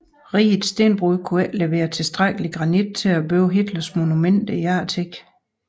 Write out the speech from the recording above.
Rigets stenbrud kunne ikke levere tilstrækkelig granit til at bygge Hitlers monumenter til eftertiden